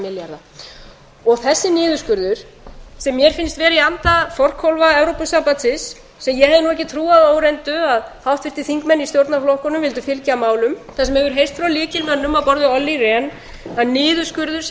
milljarða og þessi niðurskurður sem mér finnst vera í anda forkólfa evrópusambandsins sem ég hefði nú ekki trúað að óreyndu að háttvirtir þingmenn í stjórnarflokkunum vildu fylgja að málum það sem hefur heyrst frá lykilmönnum á borð við olli rehn að niðurskurður sé